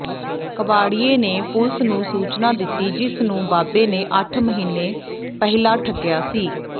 ਕਬਾੜੀਏ ਨੇ ਪੁਲਸ ਨੂੰ ਸੂਚਨਾ ਦਿੱਤੀ ਜਿਸ ਨੂੰ ਬਾਬੇ ਨੇ ਅੱਠ ਮਹੀਨੇ ਪਹਿਲਾਂ ਠੱਗਿਆ ਸੀ